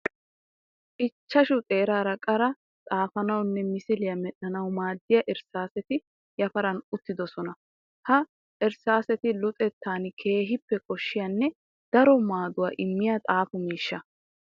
Ichchashshu xeerara qara xaafanawunne misilya medhdhanawu maadiya irssaasetti yafaran uttidosonna. Ha irssaasetti luxettan keehippe koshiyanne daro maaduwa immiya xaafiyo miishsha.